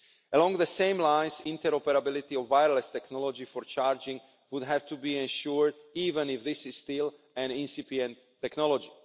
Along the same lines, interoperability of wireless technology for charging would have to be ensured, even if this is still an incipient technology.